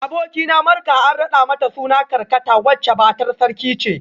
Abokina Marka an rada mata sunan kakarta wacce matar sarki ce